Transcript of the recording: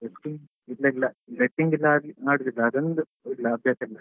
Betting ಇಲ್ಲ ಇಲ್ಲ betting ಎಲ್ಲ ಮಾಡುದಿಲ್ಲ ಅದ್ ಒಂದು ಅಭ್ಯಾಸ ಇಲ್ಲ.